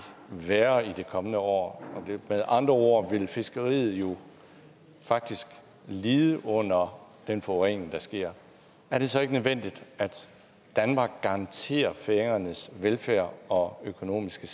værre i de kommende år med andre ord vil fiskeriet jo faktisk lide under den forurening der sker er det så ikke nødvendigt at danmark garanterer færøernes velfærd og økonomiske